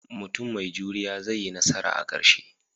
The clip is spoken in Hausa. Mutum mai juriya zai yi nasara a ƙarshe